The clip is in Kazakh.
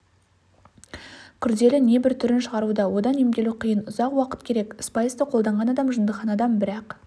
күрделі небір түрін шығаруда одан емделу қиын ұзақ уақыт керек спайсты қолданған адам жындыханадан бір-ақ